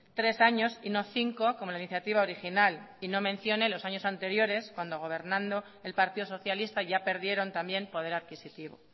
tres años y no cinco como la iniciativa original y no mencione los años anteriores cuando gobernando el partido socialista ya perdieron también poder adquisitivo